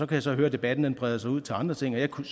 kan så høre at debatten breder sig ud til andre ting og jeg kunne